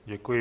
Děkuji.